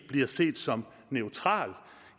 bliver set som neutral